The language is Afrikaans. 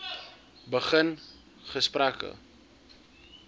begin gesprekke